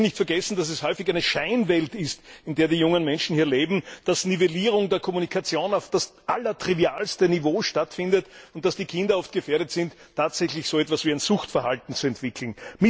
Wir dürfen nicht vergessen, dass es häufig eine Scheinwelt ist, in der die jungen Menschen hier leben, dass Nivellierung der Kommunikation auf das allertrivialste Niveau stattfindet und dass die Kinder oft gefährdet sind, tatsächlich so etwas wie ein Suchtverhalten zu entwickeln.